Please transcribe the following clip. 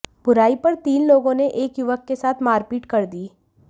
बुराई पर तीन लोगों ने एक युवक के साथ मारपीट कर दी